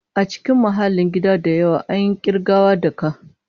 A cikin mahallin gida da yawa, an yi ƙirgawa da ka.